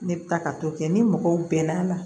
Ne bɛ taa ka t'o kɛ ni mɔgɔw bɛnn'a la